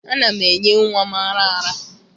Ana m enye nwa m ara ara.